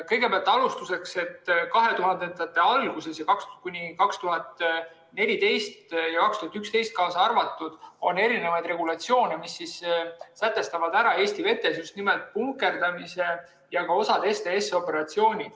Kõigepealt, 2000-ndate alguses, 2011 ja 2014 kaasa arvatud, on erinevaid regulatsioone, mis sätestavad Eesti vetes just nimelt punkerdamise ja ka osa STS‑operatsioone.